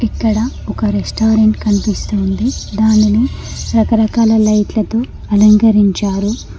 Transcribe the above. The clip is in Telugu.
ఇక్కడ ఒక రెస్టారెంట్ కనిపిస్తుంది దానిని రకరకాల లైట్లతో అలంకరించారు.